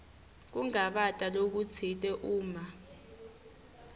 kungabata lokutsite uma